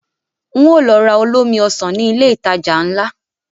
Ń ó lọ ra olómi Ọsàn ní ilé ìtajà ńlá